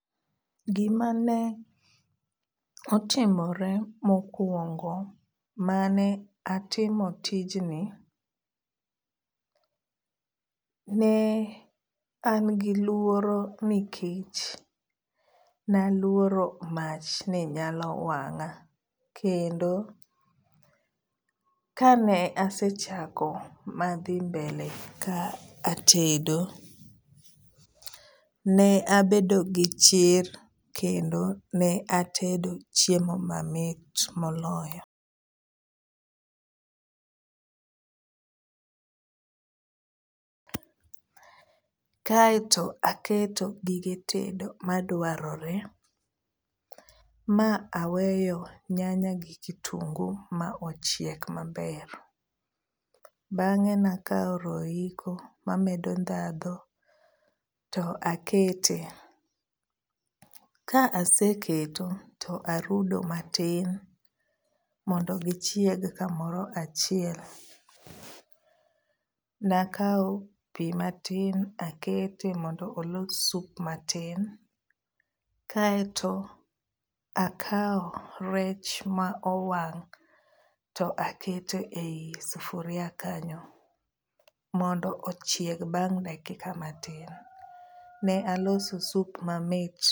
Gimane otimore mokuongo mane atimo tijni, ne an gi luoro nikech naluoro mach ni nyalo wang'a, kendo kane asechako madhi mbele ka atedo ne abedo gi chir kendo ne atedo chiemo mamit moloyo, kaeto aketo gige tedo maduarore ma aweyo nyanya gi kitungu ma ochiek maber, bang'e ne akawo royco mamedo dhadho to akete, ka aseketo to arudo matin mondo gichieg kamoro achiel, nakawo pi matin akete mondo olos sup matin, kaeto akawo rech ma owang' to akete e yi sufuria kanyo mondo ochieg bang' dakika matin, ne aloso sup mamit.